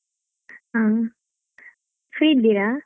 ಹ್ಮ್ free ಇದ್ದಿಯಾ?